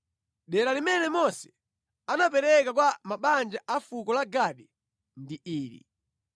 Dera limene Mose anapereka kwa mabanja a fuko la Gadi ndi ili: